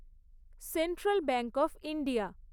central bank of India